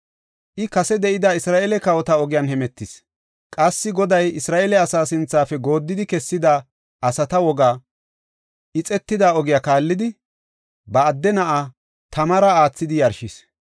I kase de7ida Isra7eele kawota ogiyan hemetis. Qassi Goday Isra7eele asa sinthafe gooddidi kessida asata wogaa, ixetida ogiya kaallidi, ba adde na7aa tamara aathidi yarshis.